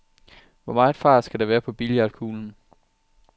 Hvor meget fart skal der være på billiardkuglen?